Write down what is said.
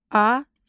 Azər.